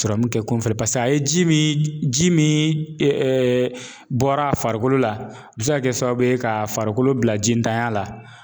kɛ kunfɛli paseke a ye ji min ji min bɔra a farikolo la, a bi se ka kɛ sababu ye ka farikolo bila ji ntanya la